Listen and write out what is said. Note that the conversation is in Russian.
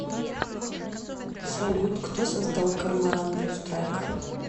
салют кто создал корморан блю страйк